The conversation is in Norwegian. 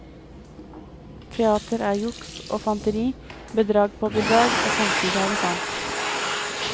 Teater er juks og fanteri, bedrag på bedrag, og samtidig er det sant.